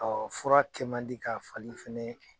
fura kɛ man di ka fali fɛnɛ